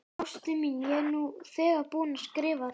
Ástin mín, ég er nú þegar búinn að skrifa þér.